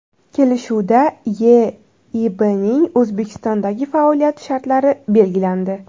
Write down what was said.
Kelishuvda YeIBning O‘zbekistondagi faoliyati shartlari belgilandi.